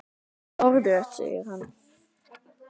Orðrétt segir hann